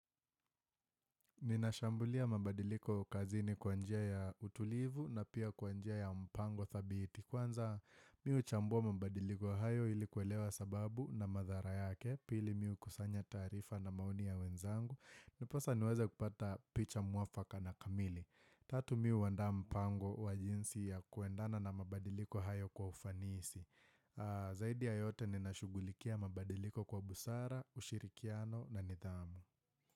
Ninashambulia mabadiliko kazini kwa njia ya utulivu na pia kwa njia ya mpango thabiti Kwanza mimi huchambua mabadiliko hayo ilikuwelewa sababu na madhara yake. Pili mi hukusanya tarifa na maoni ya wenzangu. Ndiposa niweze kupata picha muafaka na kamili. Tatu mi huanda mpango wa jinsi ya kuendana na mabadiliko hayo kwa ufanisi Zaidi ya yote ninashugulikia mabadiliko kwa busara, ushirikiano na nidhamu.